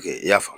Kɛ i y'a faamu